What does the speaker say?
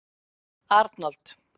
Arnold